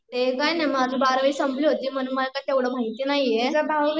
ते काय नाय, माझं तर बारावी संपली होती म्हणून मला काही तेवढा माहिती नाहीये